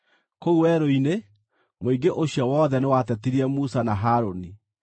Kũu werũ-inĩ, mũingĩ ũcio wothe nĩwatetirie Musa na Harũni.